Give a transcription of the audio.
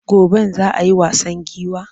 Goben za a yi wasan giwa?